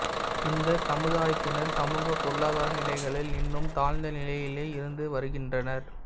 இந்த சமுதாயத்தினர் சமூக பொருளாதார நிலைகளில் இன்னும் தாழ்ந்த நிலையிலேயே இருந்து வருகின்றனர்